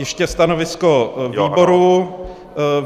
Ještě stanovisko výboru.